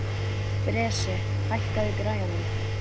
Bresi, hækkaðu í græjunum.